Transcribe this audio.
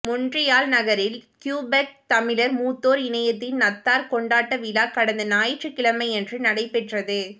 மொன்றியால் நகரில் கியுபெக் தமிழ்ர் மூத்தோர் இணையத்தின் நத்தார் கொண்டாட்ட விழா கடந்த ஞாயிற்றுக்கிழமையன்று நடைபெற்றது